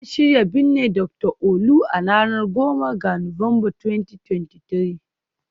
An shirya binne Dr Olu, a ranar 10 ga Nuwamba, 2023